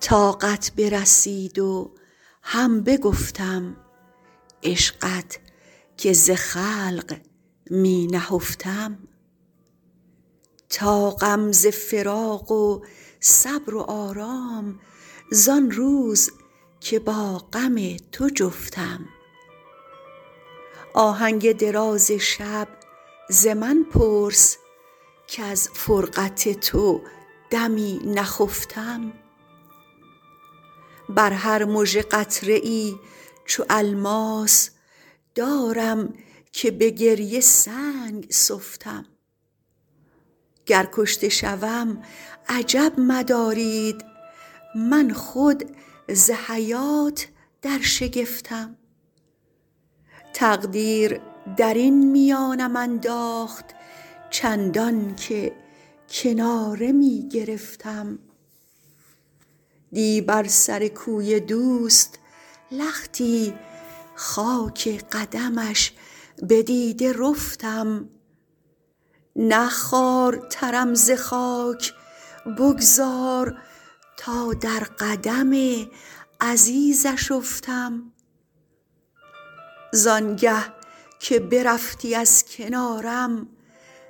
طاقت برسید و هم بگفتم عشقت که ز خلق می نهفتم طاقم ز فراق و صبر و آرام زآن روز که با غم تو جفتم آهنگ دراز شب ز من پرس کز فرقت تو دمی نخفتم بر هر مژه قطره ای چو الماس دارم که به گریه سنگ سفتم گر کشته شوم عجب مدارید من خود ز حیات در شگفتم تقدیر درین میانم انداخت چندان که کناره می گرفتم دی بر سر کوی دوست لختی خاک قدمش به دیده رفتم نه خوارترم ز خاک بگذار تا در قدم عزیزش افتم زآن گه که برفتی از کنارم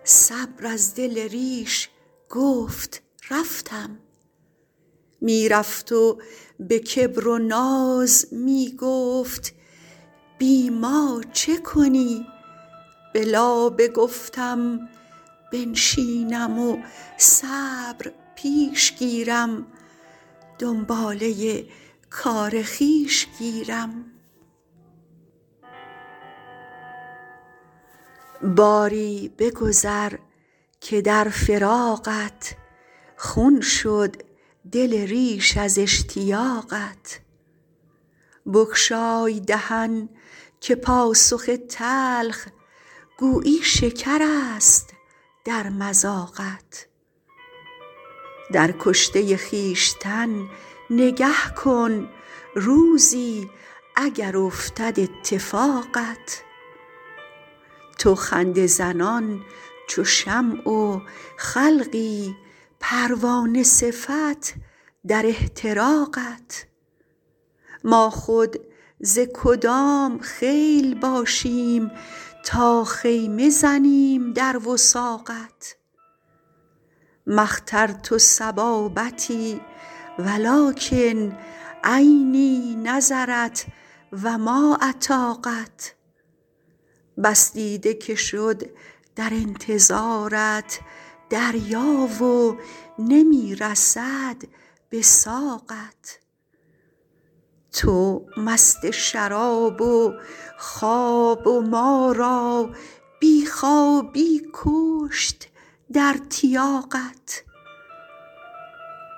صبر از دل ریش گفت رفتم می رفت و به کبر و ناز می گفت بی ما چه کنی به لابه گفتم بنشینم و صبر پیش گیرم دنباله کار خویش گیرم باری بگذر که در فراقت خون شد دل ریش از اشتیاقت بگشای دهن که پاسخ تلخ گویی شکرست در مذاقت در کشته خویشتن نگه کن روزی اگر افتد اتفاقت تو خنده زنان چو شمع و خلقی پروانه صفت در احتراقت ما خود ز کدام خیل باشیم تا خیمه زنیم در وثاقت ما اخترت صبابتی ولکن عینی نظرت و ما اطاقت بس دیده که شد در انتظارت دریا و نمی رسد به ساقت تو مست شراب و خواب و ما را بی خوابی بکشت در تیاقت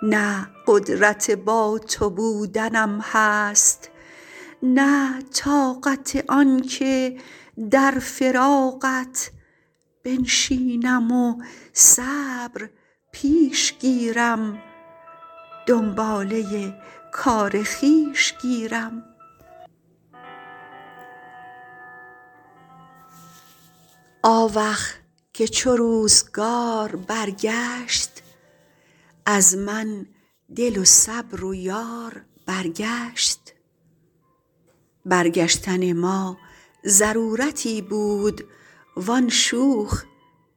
نه قدرت با تو بودنم هست نه طاقت آن که در فراقت بنشینم و صبر پیش گیرم دنباله کار خویش گیرم آوخ که چو روزگار برگشت از من دل و صبر و یار برگشت برگشتن ما ضرورتی بود وآن شوخ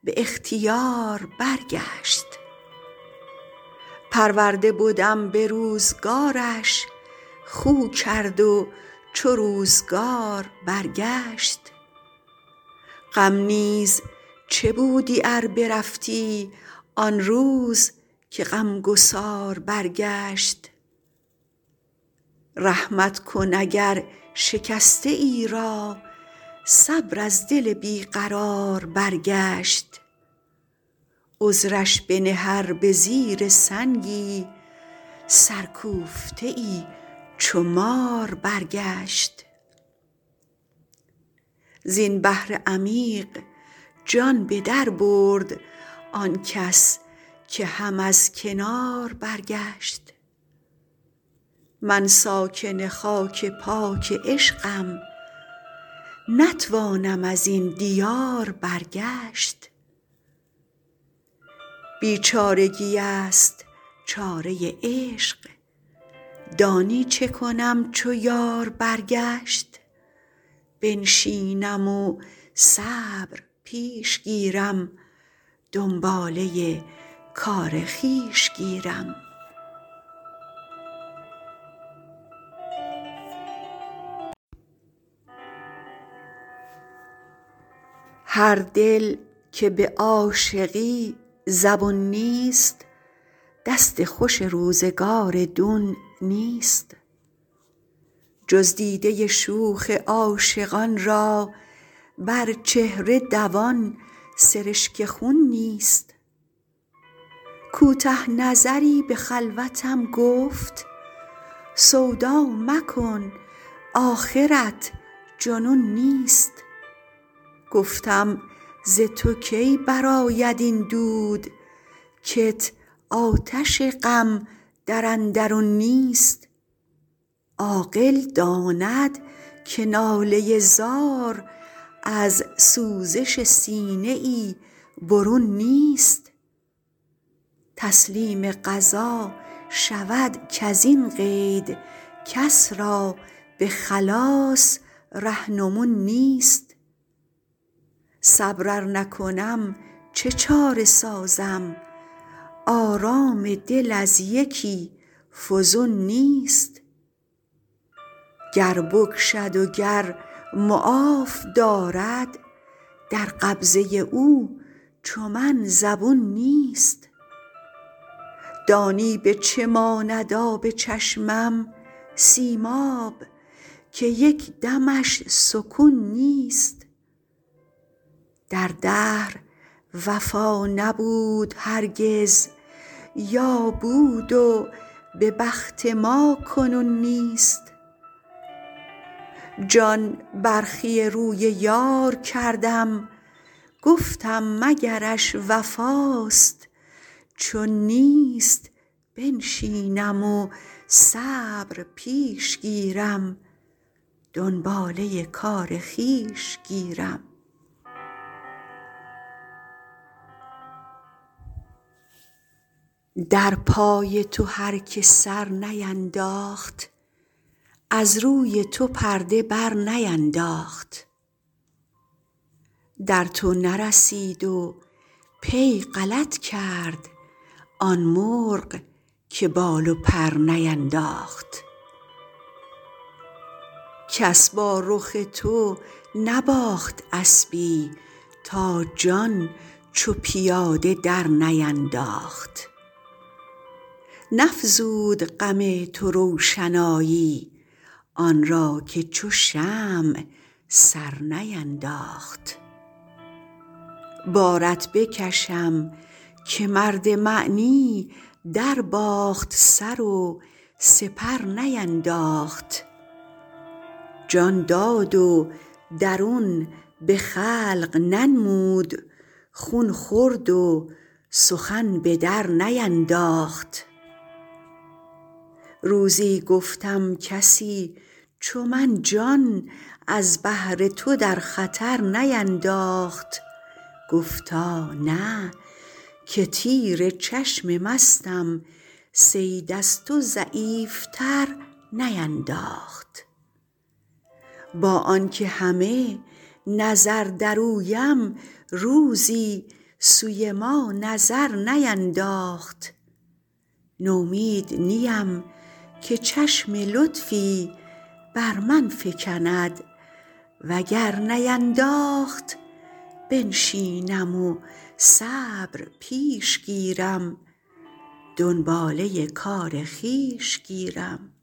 به اختیار برگشت پرورده بدم به روزگارش خو کرد و چو روزگار برگشت غم نیز چه بودی ار برفتی آن روز که غم گسار برگشت رحمت کن اگر شکسته ای را صبر از دل بی قرار برگشت عذرش بنه ار به زیر سنگی سرکوفته ای چو مار برگشت زین بحر عمیق جان به در برد آن کس که هم از کنار برگشت من ساکن خاک پاک عشقم نتوانم ازین دیار برگشت بیچارگی ست چاره عشق دانی چه کنم چو یار برگشت بنشینم و صبر پیش گیرم دنباله کار خویش گیرم هر دل که به عاشقی زبون نیست دست خوش روزگار دون نیست جز دیده شوخ عاشقان را بر چهره دوان سرشک خون نیست کوته نظری به خلوتم گفت سودا مکن آخرت جنون نیست گفتم ز تو کی برآید این دود کت آتش غم در اندرون نیست عاقل داند که ناله زار از سوزش سینه ای برون نیست تسلیم قضا شود کزین قید کس را به خلاص رهنمون نیست صبر ار نکنم چه چاره سازم آرام دل از یکی فزون نیست گر بکشد و گر معاف دارد در قبضه او چو من زبون نیست دانی به چه ماند آب چشمم سیماب که یک دمش سکون نیست در دهر وفا نبود هرگز یا بود و به بخت ما کنون نیست جان برخی روی یار کردم گفتم مگرش وفاست چون نیست بنشینم و صبر پیش گیرم دنباله کار خویش گیرم در پای تو هر که سر نینداخت از روی تو پرده بر نینداخت در تو نرسید و پی غلط کرد آن مرغ که بال و پر نینداخت کس با رخ تو نباخت اسبی تا جان چو پیاده در نینداخت نفزود غم تو روشنایی آن را که چو شمع سر نینداخت بارت بکشم که مرد معنی در باخت سر و سپر نینداخت جان داد و درون به خلق ننمود خون خورد و سخن به در نینداخت روزی گفتم کسی چو من جان از بهر تو در خطر نینداخت گفتا نه که تیر چشم مستم صید از تو ضعیف تر نینداخت با آن که همه نظر در اویم روزی سوی ما نظر نینداخت نومید نیم که چشم لطفی بر من فکند وگر نینداخت بنشینم و صبر پیش گیرم دنباله کار خویش گیرم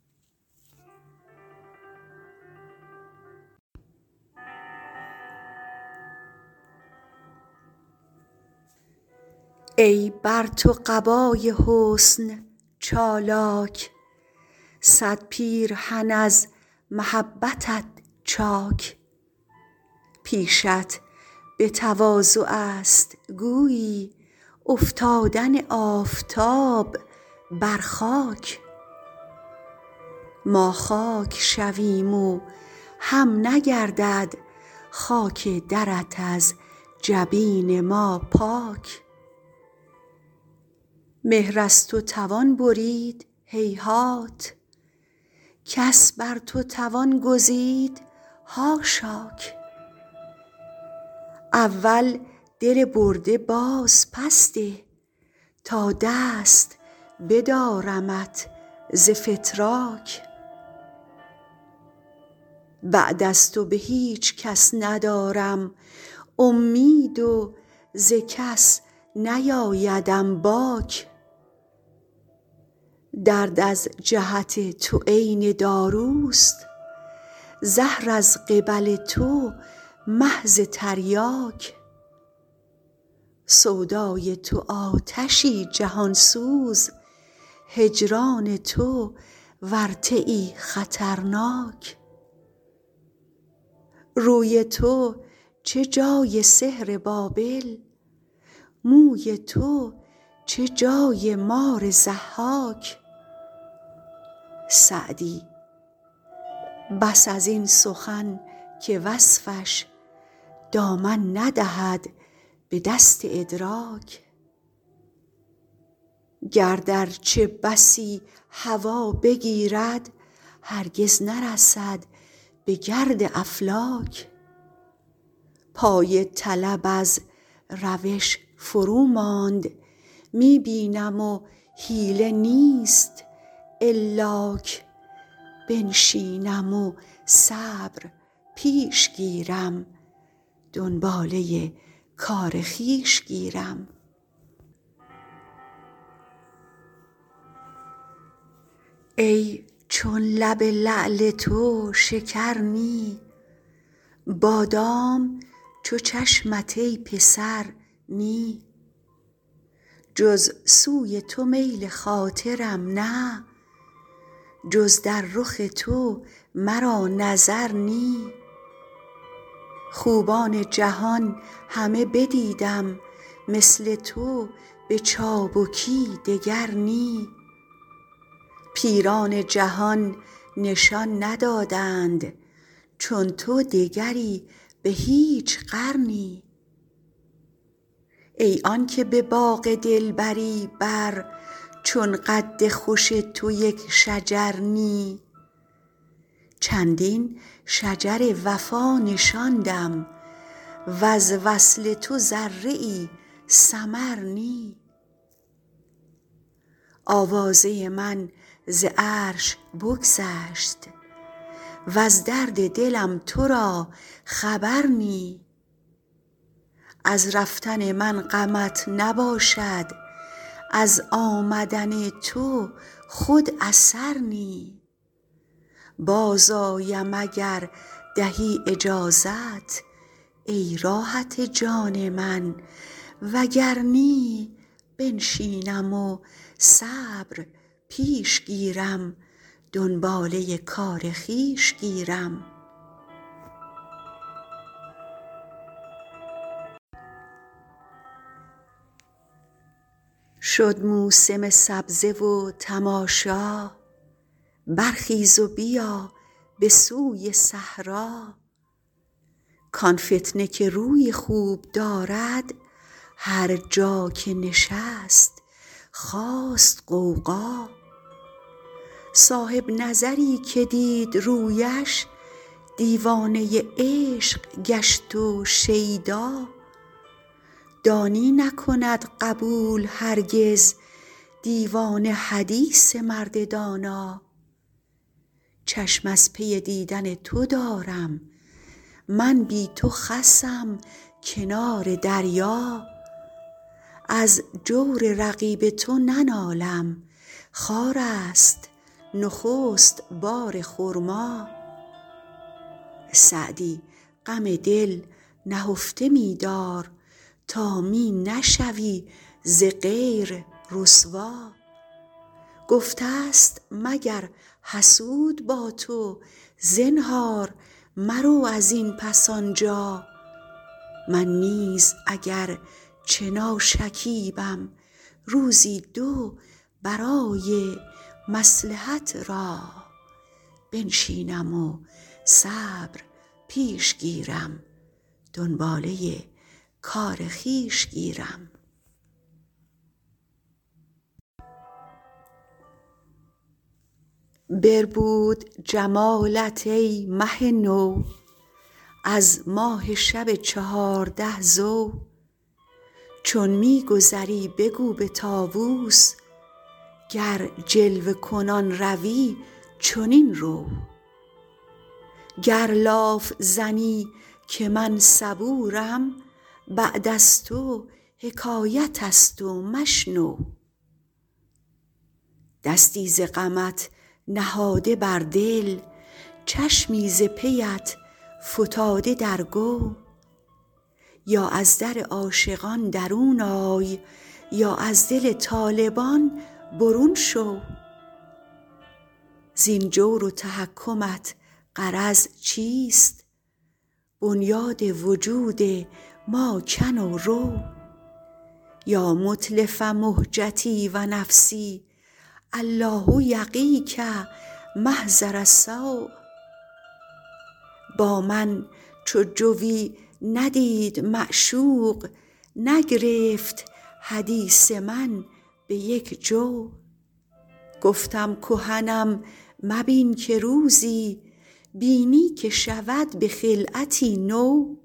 ای بر تو قبای حسن چالاک صد پیرهن از محبتت چاک پیشت به تواضع ست گویی افتادن آفتاب بر خاک ما خاک شویم و هم نگردد خاک درت از جبین ما پاک مهر از تو توان برید هیهات کس بر تو توان گزید حاشاک اول دل برده باز پس ده تا دست بدارمت ز فتراک بعد از تو به هیچ کس ندارم امید و ز کس نیآیدم باک درد از جهت تو عین داروست زهر از قبل تو محض تریاک سودای تو آتشی جهان سوز هجران تو ورطه ای خطرناک روی تو چه جای سحر بابل موی تو چه جای مار ضحاک سعدی بس ازین سخن که وصفش دامن ندهد به دست ادراک گرد ارچه بسی هوا بگیرد هرگز نرسد به گرد افلاک پای طلب از روش فرو ماند می بینم و حیله نیست الاک بنشینم و صبر پیش گیرم دنباله کار خویش گیرم ای چون لب لعل تو شکر نی بادام چو چشمت ای پسر نی جز سوی تو میل خاطرم نه جز در رخ تو مرا نظر نی خوبان جهان همه بدیدم مثل تو به چابکی دگر نی پیران جهان نشان ندادند چون تو دگری به هیچ قرنی ای آن که به باغ دلبری بر چون قد خوش تو یک شجر نی چندین شجر وفا نشاندم وز وصل تو ذره ای ثمر نی آوازه من ز عرش بگذشت وز درد دلم تو را خبر نی از رفتن من غمت نباشد از آمدن تو خود اثر نی باز آیم اگر دهی اجازت ای راحت جان من وگر نی بنشینم و صبر پیش گیرم دنباله کار خویش گیرم شد موسم سبزه و تماشا برخیز و بیا به سوی صحرا کآن فتنه که روی خوب دارد هر جا که نشست خاست غوغا صاحب نظری که دید رویش دیوانه عشق گشت و شیدا دانی نکند قبول هرگز دیوانه حدیث مرد دانا چشم از پی دیدن تو دارم من بی تو خسم کنار دریا از جور رقیب تو ننالم خارست نخست بار خرما سعدی غم دل نهفته می دار تا می نشوی ز غیر رسوا گفته ست مگر حسود با تو زنهار مرو ازین پس آنجا من نیز اگر چه ناشکیبم روزی دو برای مصلحت را بنشینم و صبر پیش گیرم دنباله کار خویش گیرم بربود جمالت ای مه نو از ماه شب چهارده ضو چون می گذری بگو به طاوس گر جلوه کنان روی چنین رو گر لاف زنم که من صبورم بعد از تو حکایت ست و مشنو دستی ز غمت نهاده بر دل چشمی ز پیت فتاده در گو یا از در عاشقان درون آی یا از دل طالبان برون شو زین جور و تحکمت غرض چیست بنیاد وجود ما کن و رو یا متلف مهجتی و نفسی الله یقیک محضر السو با من چو جویی ندید معشوق نگرفت حدیث من به یک جو گفتم کهنم مبین که روزی بینی که شود به خلعتی نو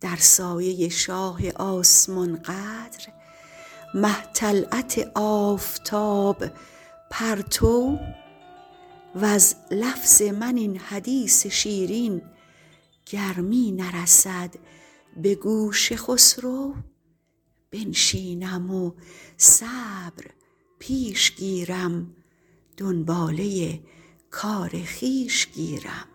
در سایه شاه آسمان قدر مه طلعت آفتاب پرتو وز لفظ من این حدیث شیرین گر می نرسد به گوش خسرو بنشینم و صبر پیش گیرم دنباله کار خویش گیرم